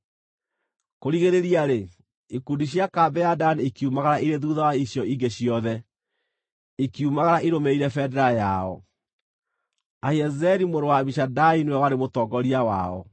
Kũrigĩrĩria-rĩ, ikundi cia kambĩ ya Dani ikiumagara irĩ thuutha wa icio ingĩ ciothe, ikiumagara ĩrũmĩrĩire bendera yao. Ahiezeri mũrũ wa Amishadai nĩwe warĩ mũtongoria wao.